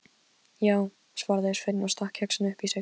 Já, svaraði Sveinn og stakk kexinu upp í sig.